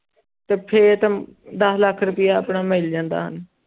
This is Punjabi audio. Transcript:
ਤੇ ਫਿਰ ਤਾਂ ਦਸ ਲੱਖ ਰੁਪਇਆ ਆਪਣਾ ਮਿਲ ਜਾਂਦਾ